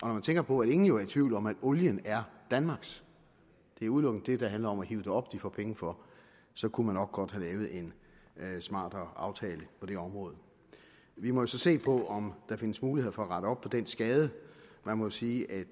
man tænker på at ingen jo er i tvivl om at olien er danmarks det er udelukkende det der handler om at hive den op de får penge for så kunne man nok godt have lavet en smartere aftale på det område vi må jo så se på om der findes muligheder for at rette op på den skade jeg må sige at